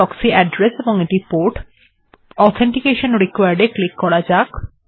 proxy ত়ে authentication বা পরিচয়ের প্রমাণীকরণ এর প্রয়োজন হয় তাহলে এটিতে ক্লিক্ করা যাক